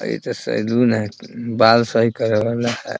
इ तो सैलून है | बाल सही करे वाला है ।